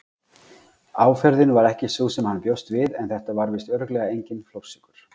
Áferðin var ekki sú sem hann bjóst við en þetta var víst örugglega enginn flórsykur.